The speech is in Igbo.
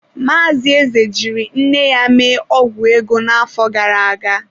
Maazị Eze jiri nne ya mee ọgwụ ego n’afọ gara aga.